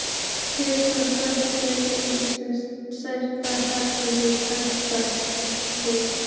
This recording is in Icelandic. Kíkir sem snöggvast inn í svefnherbergi kappans.